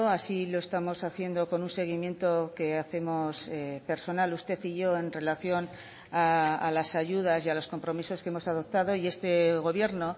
así lo estamos haciendo con un seguimiento que hacemos personal usted y yo en relación a las ayudas y a los compromisos que hemos adoptado y este gobierno